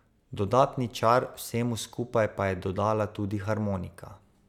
Dodatni čar vsemu skupaj pa je dodala tudi harmonika.